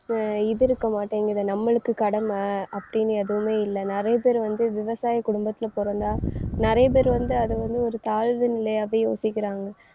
அஹ் இது இருக்க மாட்டேங்குது நம்மளுக்கு கடமை அப்படின்னு எதுவுமே இல்லை. நிறைய பேர் வந்து விவசாய குடும்பத்துல பொறந்தா நிறைய பேர் வந்து அதை வந்து ஒரு தாழ்வு நிலையாவே யோசிக்கிறாங்க